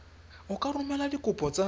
o ka romela dikopo tsa